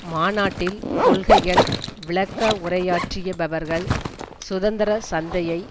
மாநாட்டில் கொள்கைகள் விளக்க உரையாற்றியவர்கள் சுதந்திர சந்தையை